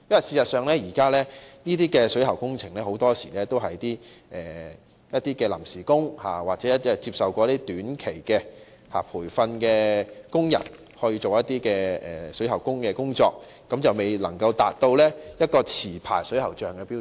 事實上，就現時的水喉工程而言，很多時都是由一些臨時工或曾接受短期培訓的工人進行有關工程，未能夠達到持牌水喉匠的標準。